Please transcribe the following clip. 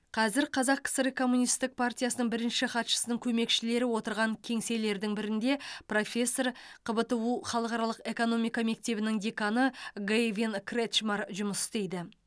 қазір қазақ кср коммунистік партиясының бірінші хатшысының көмекшілері отырған кеңселердің бірінде профессор қбту халықаралық экономика мектебінің деканы гэйвин кретчмар жұмыс істейді